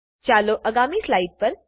ચાલો આગામી સ્લાઇડ પર